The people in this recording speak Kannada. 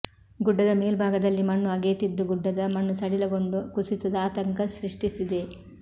ಗುಡ್ಡದ ಮೇಲ್ಭಾಗದಲ್ಲಿ ಮಣ್ಣು ಅಗೆಯುತ್ತಿದ್ದು ಗುಡ್ಡದ ಮಣ್ಣು ಸಡಿಲಗೊಂಡು ಕುಸಿತದ ಆತಂಕ ಸೃಷ್ಟಿಸಿದೆ